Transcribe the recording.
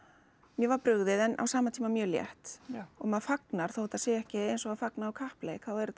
mér var brugðið en á sama tíma mjög létt og maður fagnar þótt þetta sé ekki eins og að fagna á kappleik þá er þetta